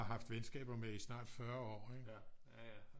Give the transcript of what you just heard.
Har haft venskaber med i snart 40 år ikke